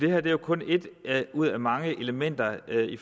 er jo kun et ud af mange elementer i